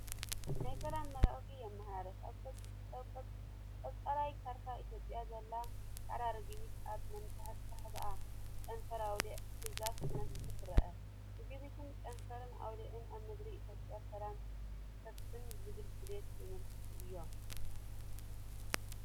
ናይ ሰላም መልእኽቲ የመሓላልፍ። ኣብ ቀጠልያ ካርታ ኢትዮጵያ ዘላ ጻዕዳ ርግቢት ኣብ መንቋሕቋሕታኣ ጨንፈር ኣውሊዕ ሒዛ ክትነፍር ትርአ። ርግቢትን ጨንፈር ኣውሊዕን ኣብ ምድሪ ኢትዮጵያ ሰላም ክሰፍን ዝብል ድሌት ዘመልክቱ እዮም።